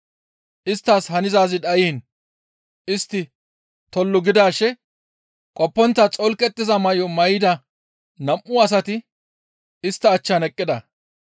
isttas hanzaazi dhayiin istti tollu gidaashe qoppontta xolqettiza may7o may7ida nam7u asati istta achchan eqqida.